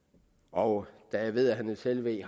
og da jeg ved at herre niels helveg